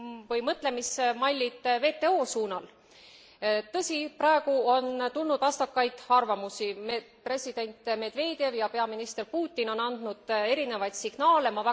või mõtlemismallid WTO suunal. Tõsi, praegu on tulnud vastakaid arvamusi president Medvedev ja peaminister Putin on andnud erinevaid signaale.